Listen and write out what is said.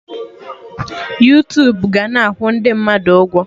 Yuutubu ga-na akwụ ndị mmadụ ụgwọ